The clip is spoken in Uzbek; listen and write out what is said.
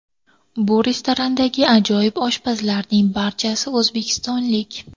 Bu restorandagi ajoyib oshpazlarning barchasi o‘zbekistonlik”.